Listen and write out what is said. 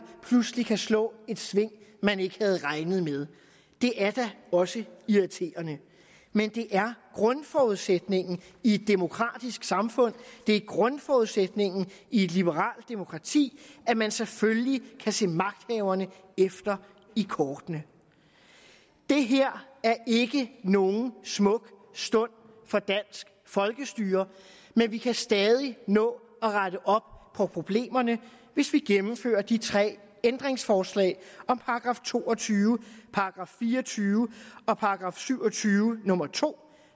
pludselig kan slå et sving man ikke havde regnet med det er da også irriterende men det er grundforudsætningen i et demokratisk samfund det er grundforudsætningen i et liberalt demokrati at man selvfølgelig kan se magthaverne efter i kortene det her er ikke nogen smuk stund for dansk folkestyre men vi kan stadig nå at rette op på problemerne hvis vi gennemfører de tre ændringsforslag om § to og tyve § fire og tyve og § syv og tyve nummer to